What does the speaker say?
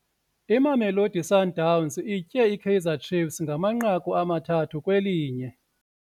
Imamelodi Sundowns itye iKaizer Chiefs ngamanqaku amathathu kwelinye.